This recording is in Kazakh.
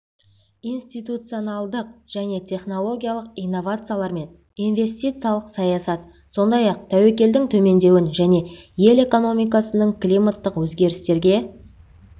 институционалдық және технологиялық инновациялар мен инвестициялық саясат сондай-ақ тәуекелдің төмендеуін және ел экономикасының климаттық өзгерістерге